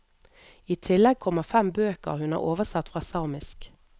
I tillegg kommer fem bøker hun har oversatt fra samisk.